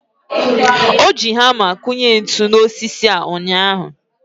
o jiri hama kụnye ntu n'osisi a ụnyaahụ.